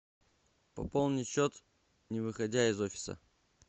пополнить счет не выходя из офиса